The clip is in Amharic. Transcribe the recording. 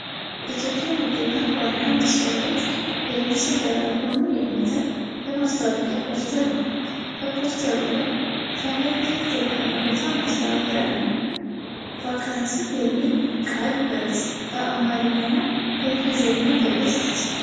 የኢትዮጵያ ንግድ ባንክ ዋና መሥሪያ ቤት ምስል ዳራ ሆኖ የሚታይ የማስታወቂያ ፖስተር ነው። በፖስተሩ ላይ ከላይ "ክፍት የሥራ ቦታ ማስታወቂያ" እና "ቫካንሲ" የሚል ቃል በአማርኛና በእንግሊዝኛ በግልጽ ተጽፏል።